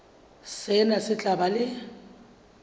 sena se tla ba le